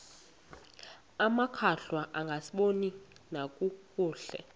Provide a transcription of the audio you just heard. amakhwahla angasaboni nakakuhle